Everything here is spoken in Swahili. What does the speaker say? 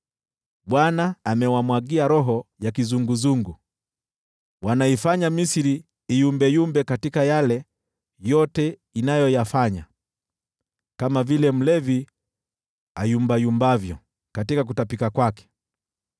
Bwana amewamwagia roho ya kizunguzungu; wanaifanya Misri iyumbayumbe katika yale yote inayoyafanya, kama vile mlevi ayumbayumbavyo katika kutapika kwake.